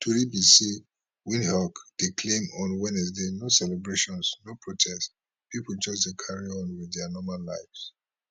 tori be say windhoek dey calm on wednesday no celebrations no protests pipo just dey carry on wit dia normal lives